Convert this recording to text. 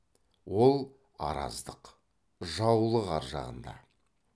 ол араздық жаулық ар жағында